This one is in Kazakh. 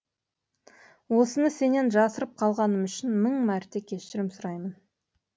осыны сенен жасырып қалғаным үшін мың мәрте кешірім сұраймын